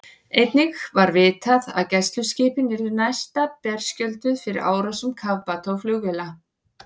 Einnig var vitað, að gæsluskipin yrðu næsta berskjölduð fyrir árásum kafbáta og flugvéla.